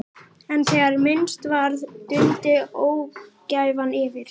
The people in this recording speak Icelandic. En þegar minnst varði dundi ógæfan yfir.